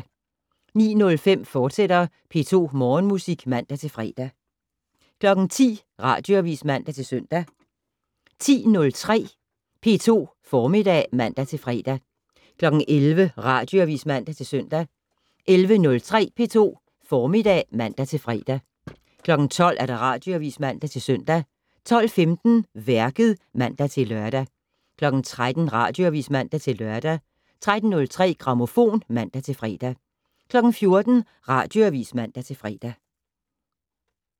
09:05: P2 Morgenmusik, fortsat (man-fre) 10:00: Radioavis (man-søn) 10:03: P2 Formiddag (man-fre) 11:00: Radioavis (man-søn) 11:03: P2 Formiddag (man-fre) 12:00: Radioavis (man-søn) 12:15: Værket (man-lør) 13:00: Radioavis (man-lør) 13:03: Grammofon (man-fre) 14:00: Radioavis (man-fre)